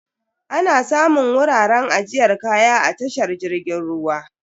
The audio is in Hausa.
Ana samun wuraren ajiyar kaya a tashar jirgin ruwa.